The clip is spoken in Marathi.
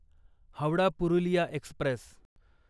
हावडा पुरुलिया एक्स्प्रेस